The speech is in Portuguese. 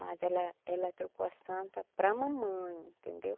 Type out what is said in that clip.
Mas ela ela trocou a Santa para a mamãe, entendeu?